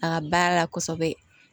A ka baara la kosɛbɛ